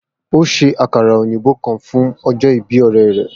O ṣe akara oyinbo kan fun ọjọ ibi ọrẹ rẹ.